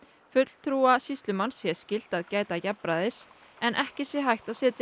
fulltrúa sýslumanns sé skylt að gæta jafnræðis en ekki sé hægt að setja